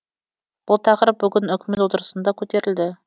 бұл тақырып бүгін үкімет отырысында көтерілді